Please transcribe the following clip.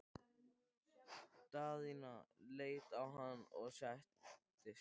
Daðína leit á hana og settist.